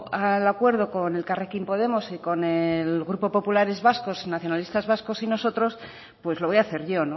al acuerdo con elkarrekin podemos y con el grupo populares vascos y nacionalistas vascos y nosotros pues lo voy a hacer yo